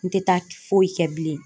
N tɛ taa foyi kɛ bilen.